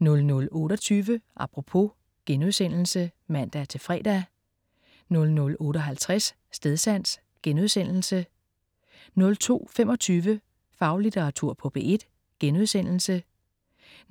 00.28 Apropos* (man-fre) 00.58 Stedsans* 02.25 Faglitteratur på P1*